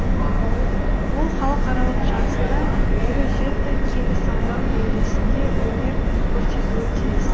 ол халықаралық жарыста елу жеті келі салмақ дәрежесінде өнер көрсетуі тиіс